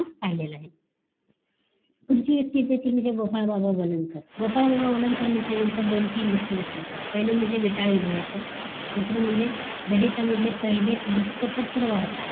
ते काढलेलं आहे पुढची व्यक्ती येते ती म्हणजे गोपाळ बाबा वलनकर. गोपाळ बाबा वलनकर म्हणल्यानंतर दोन तीन गोष्टी लक्ष्यात ठेवा पाहिलं म्हणजे वेताळ विध्वंस दुसरं म्हणजे दलित मधले पहिले वृत्तपत्र वार्ताह